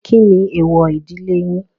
Kí ni èèwọ̀ ìdílé yín?